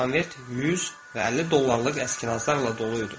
Konvert 100 və 50 dollarlıq əskinazlarla dolu idi.